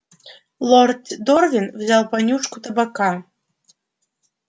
лорд дорвин взял понюшку табака